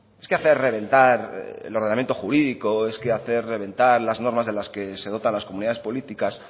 es que hacer reventar el ordenamiento jurídico es que hacer reventar las normas de las que se dotan las comunidades políticas